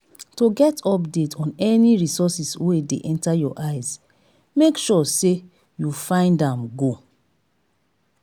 to get update on any reources wey dey enter your eyes make sure say you find am go